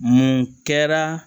Mun kɛra